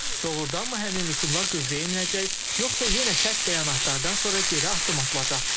Doğurdanmı həmin rüsumlar qüvvəyə minəcək, yoxsa yenə sərt bəyanatlardan sonra geri addım atılacaq?